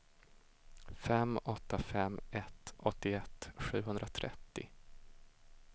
fem åtta fem ett åttioett sjuhundratrettio